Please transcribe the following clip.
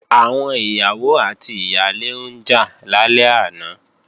Àwọn ìyàwó àti ìyálé ń jà lálẹ́ àná